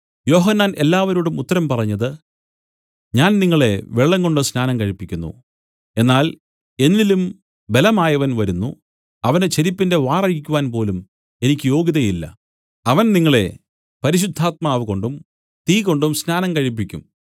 യോഹന്നാൻ എല്ലാവരോടും ഉത്തരം പറഞ്ഞത് ഞാൻ നിങ്ങളെ വെള്ളംകൊണ്ട് സ്നാനം കഴിപ്പിക്കുന്നു എന്നാൽ എന്നിലും ബലവാനായവൻ വരുന്നു അവന്റെ ചെരിപ്പിന്റെ വാറ് അഴിക്കുവാൻ പോലും എനിക്ക് യോഗ്യതയില്ല അവൻ നിങ്ങളെ പരിശുദ്ധാത്മാവുകൊണ്ടും തീകൊണ്ടും സ്നാനം കഴിപ്പിക്കും